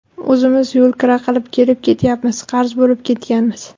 O‘zimiz yo‘lkira qilib kelib ketyapmiz, qarz bo‘lib ketganmiz.